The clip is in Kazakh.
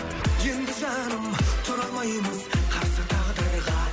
енді жаным тұра алмаймыз қарсы тағдырға